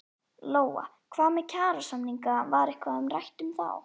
Lóa: Hvað með kjarasamninga var eitthvað rætt um þá?